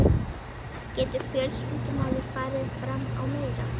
Getur fjölskyldumaður farið fram á meira?